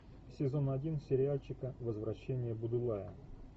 сезон один сериальчика возвращение будулая